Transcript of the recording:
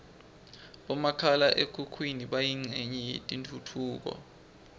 bomakhala khukhwini bayincenye yetentfutfuko